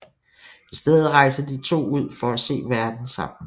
I stedet rejser de to ud for at se verden sammen